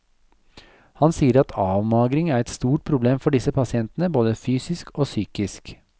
Han sier at avmagring er et stort problem for disse pasientene, både fysisk og psykisk.